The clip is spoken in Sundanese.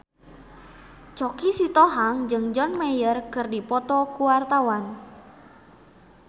Choky Sitohang jeung John Mayer keur dipoto ku wartawan